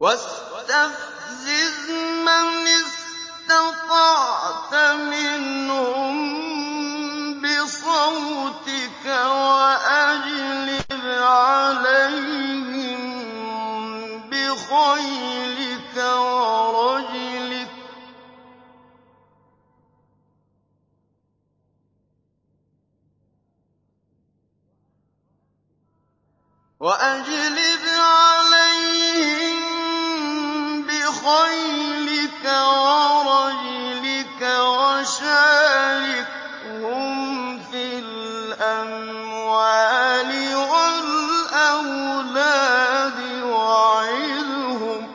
وَاسْتَفْزِزْ مَنِ اسْتَطَعْتَ مِنْهُم بِصَوْتِكَ وَأَجْلِبْ عَلَيْهِم بِخَيْلِكَ وَرَجِلِكَ وَشَارِكْهُمْ فِي الْأَمْوَالِ وَالْأَوْلَادِ وَعِدْهُمْ ۚ